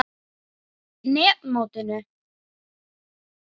net mótinu?